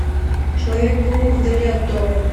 человек паук вдали от дома